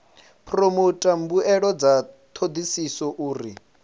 phoromotha mbuelo dza thodisiso uri